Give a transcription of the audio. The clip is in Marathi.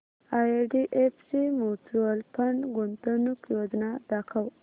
आयडीएफसी म्यूचुअल फंड गुंतवणूक योजना दाखव